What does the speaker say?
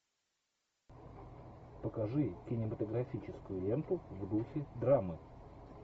покажи кинематографическую ленту в духе драмы